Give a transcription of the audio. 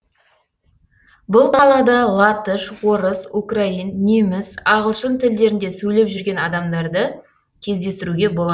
бұл қалада латыш орыс украин неміс ағылшын тілдерінде сөйлеп жүрген адамдарды кездестіруге болады